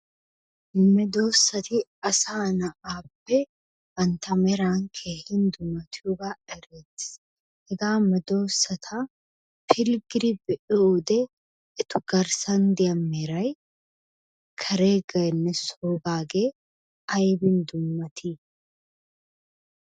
Medoossati asaa na'aappe bantta meran keehi dummatiyogaa erettes. Hegaa medoossata pilggidi be'iyode eta garssan diya meray kareegeenne soogaagee ayibin dummatii?